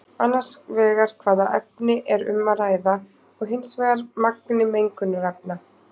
Annars vegar hvaða efni er um að ræða og hins vegar magni mengunarefna.